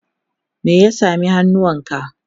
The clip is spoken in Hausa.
me ya sami hannunka?